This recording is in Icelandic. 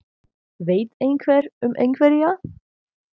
Veit einhver um einhverja?